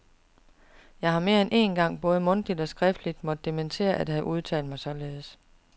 Jeg har mere end én gang både mundtligt og skriftligt måtte dementere at have udtalt mig således.